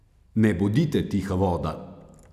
Ne bodite tiha voda!